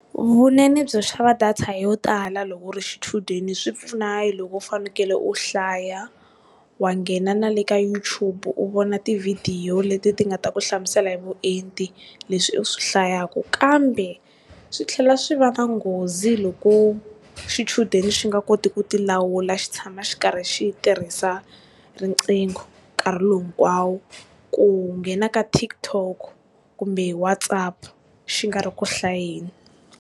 Vunene byo xava data yo tala loko u ri xichudeni swi pfuna hi loko u fanekele u hlaya, wa nghena na le ka YouTube u vona ti video leti ti nga ta ku hlamusela hi vuenti leswi u swi hlayaku. Kambe swi tlhela swi va na nghozi loko xichudeni swi nga koti ku ti lawula xi tshama xi ri karhi xi tirhisa riqingho nkarhi lowu hinkwawo. Ku nghena ka TikTok kumbe WhatsApp xi nga ri ku hlayeni.